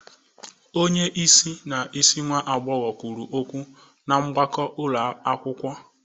Onye isi na isi nwa agbọghọ kwuru okwu na mgbakọ ụlọ akwụkwọ.